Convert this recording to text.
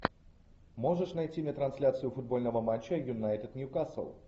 можешь найти мне трансляцию футбольного матча юнайтед ньюкасл